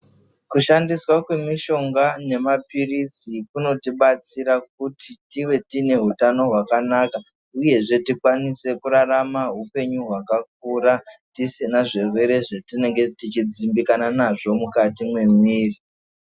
Kushandiswa kwemushonga nemapiritsi kunotinatsira kuti tive tine hutano hwakanaka uyezve tikwanise kurarama hupenyu hwakakura tisina zvirwere zvatinodzimbikana nazvo mukati memwiri.